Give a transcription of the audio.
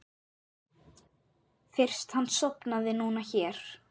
Fyrst hann sofnaði núna hér.